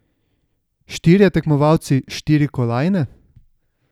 Štirje tekmovalci, štiri kolajne?